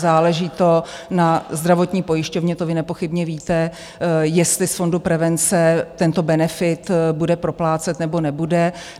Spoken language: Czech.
Záleží to na zdravotní pojišťovně, to vy nepochybně víte, jestli z fondu prevence tento benefit bude proplácet nebo nebude.